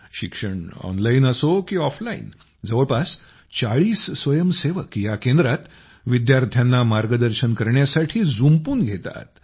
शिक्षण ऑनलाईन असो की ऑफलाईन जवळपास ४० स्वयंसेवक या केंद्रात विद्यार्थांना मार्गदर्शन करण्यासाठी जुंपून घेतात